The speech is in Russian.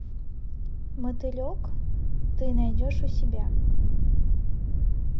мотылек ты найдешь у себя